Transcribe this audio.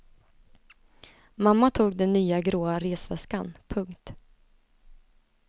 Mamma tog den nya gråa resväskan. punkt